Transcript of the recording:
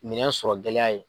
Minɛn sɔrɔ gɛlɛya ye.